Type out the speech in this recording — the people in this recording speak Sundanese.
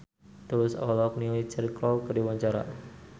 Tulus olohok ningali Cheryl Crow keur diwawancara